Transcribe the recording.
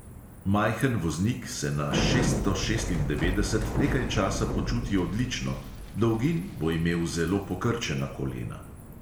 Majhen voznik se na šeststo šestindevetdeset nekaj časa počuti odlično, dolgin bo imel zelo pokrčena kolena.